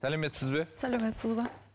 сәлеметсіз бе саламатсыз ба